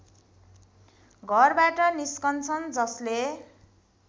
घरबाट निस्किन्छन् जसले